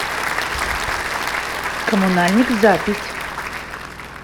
коммунальник запись